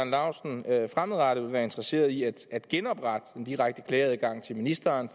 laustsen fremadrettet ville være interesseret i at at genoprette den direkte klageadgang til ministeren